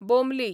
बोमली